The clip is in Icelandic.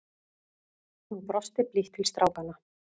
Hún brosti blítt til strákanna.